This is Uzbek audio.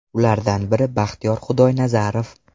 Ulardan biri Baxtiyor Xudoynazarov.